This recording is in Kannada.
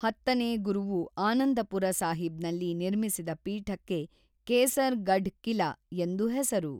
ಹತ್ತನೇ ಗುರುವು ಆನಂದಪುರ ಸಾಹಿಬ್‌ನಲ್ಲಿ ನಿರ್ಮಿಸಿದ ಪೀಠಕ್ಕೆ ಕೇಸರ್‌ ಗಢ್ ಕಿಲಾ ಎಂದು ಹೆಸರು.